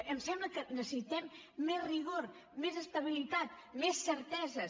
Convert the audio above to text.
em sembla que necessitem més rigor més estabilitat més certeses